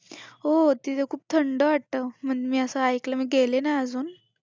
हो, तिथं खूप थंड वाटतं. मी असं ऐकलं मी गेले नाही अजून.